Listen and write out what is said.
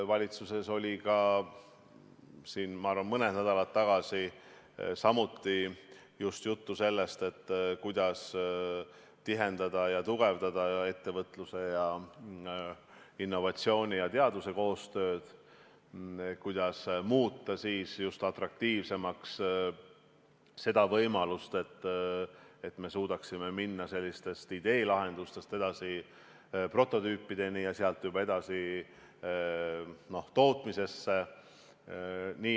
Valitsuses oli ka, ma arvan, mõni nädal tagasi samuti juttu sellest, kuidas tihendada ja tugevdada ettevõtluse, innovatsiooni ja teaduse koostööd, kuidas muuta atraktiivsemaks seda võimalust, et me suudaksime minna ideelahendustest edasi prototüüpideni ja sealt juba edasi tootmisesse.